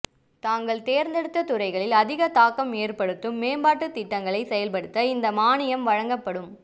தாங்கள் தேர்ந்தெடுத்த துறைகளில் அதிக தாக்கம் ஏற்படுத்தும் மேம்பாட்டுத் திட்டங்களை செயல்படுத்த இந்த மானியம் வழங்கப்படும்